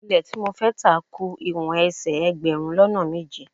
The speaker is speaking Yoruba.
Ilẹ́ tí mo fẹ́ tà ku ìwọ̀n ẹsẹ̀ ẹgbẹ̀rún lọ́nà méje.